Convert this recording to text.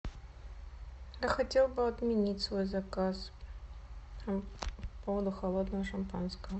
я хотел бы отменить свой заказ по поводу холодного шампанского